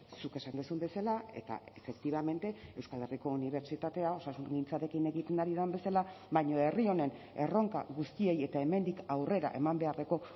zuk esan duzun bezala eta efectivamente euskal herriko unibertsitatea osasungintzarekin egiten ari den bezala baina herri honen erronka guztiei eta hemendik aurrera eman beharreko